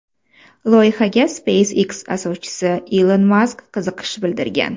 Loyihaga SpaceX asoschisi Ilon Mask qiziqish bildirgan.